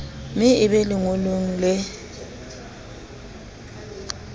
me e be lengolong le